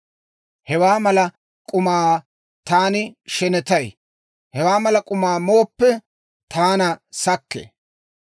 Hewaa mala k'umaa taani shenetay; hewaa mala k'umaa mooppe, taana sakkee.